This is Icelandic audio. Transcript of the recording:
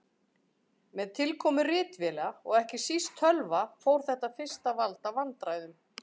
Með tilkomu ritvéla og ekki síst tölva fór þetta fyrst að valda vandræðum.